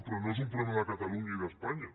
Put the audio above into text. però no és un problema de catalunya i d’espanya